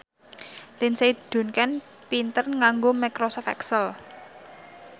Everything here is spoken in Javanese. Lindsay Ducan pinter nganggo microsoft excel